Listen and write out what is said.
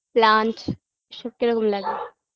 plant এই সব কিরকম লাগে